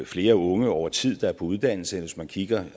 flere unge over tid der er på uddannelse end hvis man kigger